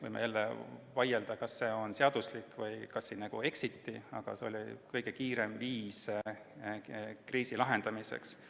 Võime jälle vaielda, kas see oli seaduslik või kas siin eksiti, aga see oli kõige kiirem viis kriisi lahendamiseks.